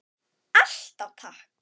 Alltaf takk.